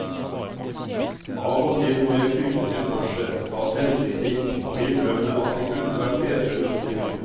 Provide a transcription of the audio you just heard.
Av og til må jeg krype til korset, ta selvkritikk og innrømme at det kunne vært bedre løsninger.